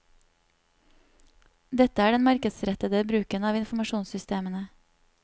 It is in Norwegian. Dette er den markedsrettede bruken av informasjonssystemene.